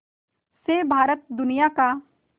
से भारत दुनिया का